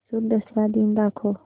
म्हैसूर दसरा दिन दाखव